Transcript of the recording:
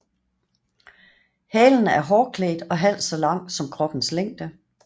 Halen er hårklædt og halvt så lang som kroppens længde